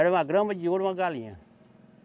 Era uma grama de ouro, uma galinha.